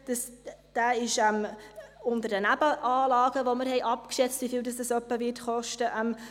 Dieser ist unter Nebenanlagen budgetiert, für die wir abgeschätzt haben, wie viel sie in etwa kosten werden.